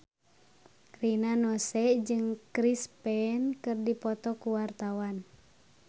Rina Nose jeung Chris Pane keur dipoto ku wartawan